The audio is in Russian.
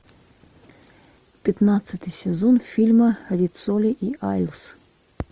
пятнадцатый сезон фильма риццоли и айлс